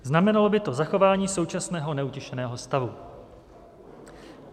Znamenalo by to zachování současného neutěšeného stavu.